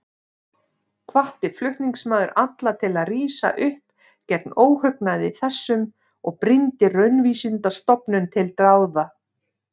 Hvatti flutningsmaður alla til að rísa upp gegn óhugnaði þessum og brýndi Raunvísindastofnun til dáða.